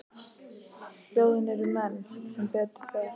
Hljóðin eru ekki mennsk, sem betur fer.